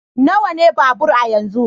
Nawa ne babur a yanzu?